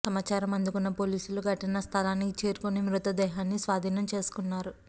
సమాచారం అందుకున్న పోలీసులు ఘటనా స్ధలానికి చేరుకుని మృతదేహాన్ని స్వాధీనం చేసుకున్నారు